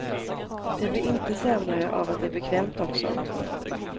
Det blir inte sämre av att det är bekvämt också.